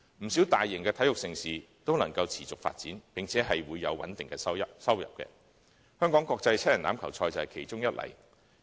不少大型體育盛事均能夠持續發展，並且有穩定的收入，香港國際七人欖球賽便是其中一例。